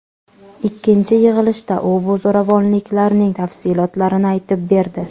Ikkinchi yig‘ilishda u bu zo‘ravonliklarning tafsilotlarini aytib berdi.